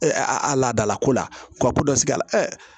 a laadalako la wa ko dɔ sigi a la